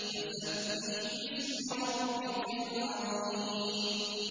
فَسَبِّحْ بِاسْمِ رَبِّكَ الْعَظِيمِ